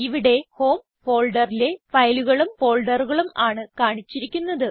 ഇവിടെ ഹോം ഫോൾഡറിലെ ഫയലുകളും ഫോൾഡറുകളും ആണ് കാണിച്ചിരിക്കുന്നത്